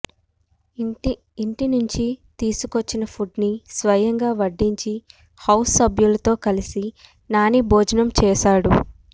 ఇంటి నుంచి తీసుకొచ్చిన ఫుడ్ ని స్వయంగా వడ్డించి హౌస్ సభ్యులతో కలిసి నాని భోజనం చేశాడు